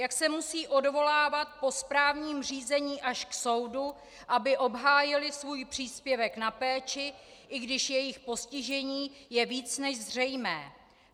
Jak se musejí odvolávat po správním řízení až k soudu, aby obhájili svůj příspěvek na péči, i když jejich postižení je víc než zřejmé.